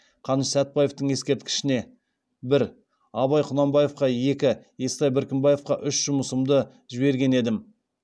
қаныш сәтбаевтың ескерткішіне бір абай құнанбаевқа екі естай беркімбаевқа үш жұмысымды жіберген едім